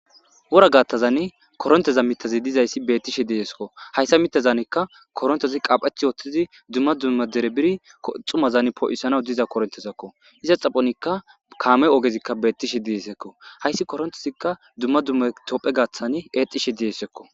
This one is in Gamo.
wora gattazan koronteza mitazi dizayssi bettishe diesekko hayssa mitazaanekka korontezi qaapheth wooththizi duma duma dere biidi koxumazan poo7isana diza korontezakko iza xaphonikka kaame ogezikka bettishe diisekko hayssi korontezikka duma duma tophphe gaaththani eexishe diesekko.